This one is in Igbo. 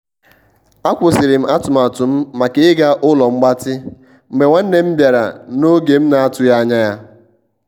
a kwusịrịm atụmatụ m maka ịga ụlo mgbatị mgbe nwanne m bịara na oge m na- atụghi ańya ya.